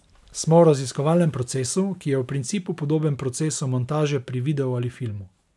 Smo v raziskovalnem procesu, ki je v principu podoben procesu montaže pri videu ali filmu.